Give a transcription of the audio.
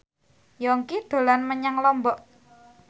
Yongki dolan menyang Lombok